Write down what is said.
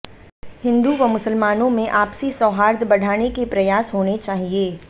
हिन्दू व मुसलमानों में आपसी सौहार्द बढ़ाने के प्रयास होने चाहिए